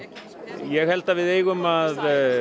ég held að við eigum að